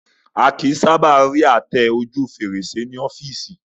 A kìí sábà rí àtẹ ojú fèrèsé tẹ́lẹ̀